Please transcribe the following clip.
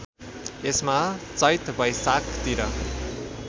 यसमा चैत वैशाखतिर